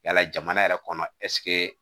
Yala jamana yɛrɛ kɔnɔ ɛsike